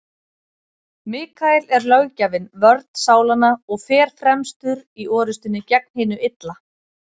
Mikael er löggjafinn, vörn sálanna, og fer fremstur í orrustunni gegn hinu illa.